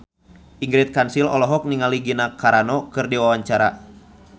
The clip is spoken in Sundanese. Ingrid Kansil olohok ningali Gina Carano keur diwawancara